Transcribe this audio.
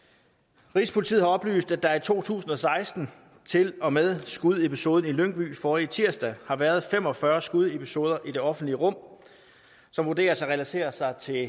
rigspolitiet har oplyst at der i to tusind og seksten til og med skudepisoden i lyngby forrige tirsdag har været fem og fyrre skudepisoder i det offentlige rum som vurderes at relatere sig til